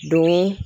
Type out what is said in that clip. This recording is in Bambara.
Don